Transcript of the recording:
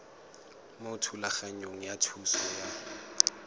mo thulaganyong ya thuso y